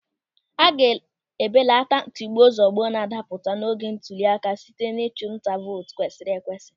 A ga-ebelata tigbuo zugbuo n'adapụta n'oge ntụli aka site n'ịchụ nta vootu kwesịrị ekwesị.